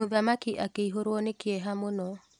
mũthamaki akĩihũrwo nĩ kĩeha mũno.